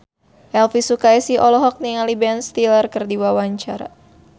Elvy Sukaesih olohok ningali Ben Stiller keur diwawancara